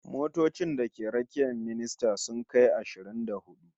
Motocin da ke rakiyar ministan sun kai ashirin da hudu